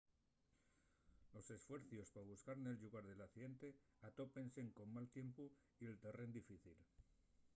los esfuercios pa buscar nel llugar del accidente atópense col mal tiempu y el terrén difícil